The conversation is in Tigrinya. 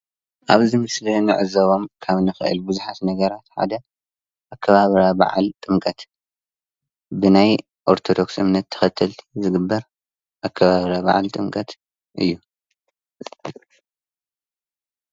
ኣብዚ ምስሊ ክንዕዘቦም ካብ ንክእል ቡዙሓት ነገራት ሓደ ኣከባብራ በዓል ጥምቀት ብናይ ኦርተዶክስ እምነት ተከተልቲ ዝግበር ኣከባብራ በዓል ጥምቀት እዩ።